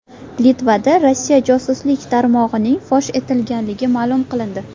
Litvada Rossiya josuslik tarmog‘ining fosh etilgani ma’lum qilindi.